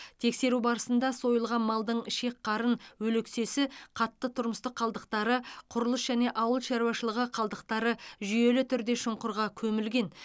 тексеру барысында сойылған малдың ішек қарын өлексесі қатты тұрмыстық қалдықтары құрылыс және ауыл шаруашылығы қалдықтары жүйелі түрде шұңқырға көмілген